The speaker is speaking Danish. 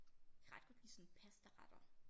Ret godt lide sådan pastaretter